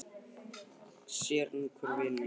Sér er nú hver vinurinn!